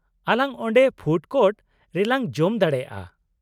-ᱟᱞᱟᱝ ᱚᱸᱰᱮ food court ᱨᱮᱞᱟᱝ ᱡᱚᱢ ᱫᱟᱲᱮᱭᱟᱜᱼᱟ ᱾